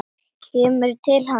Kemur til hans.